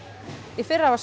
í fyrra var